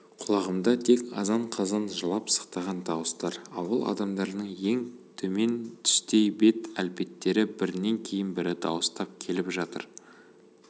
құлағымда тек азан-қазан жылап-сықтаған дауыстар ауыл адамдарының өң мен түстей бет әлпеттері бірінен кейін бірі дауыстап келіп жатыр